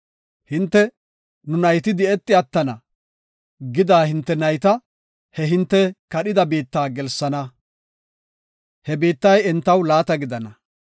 Hinte, ‘Nu nayti di7eti attana’ gida hinte nayta, he hinte kadhida biitta gelsana; he biittay entaw laata gidana.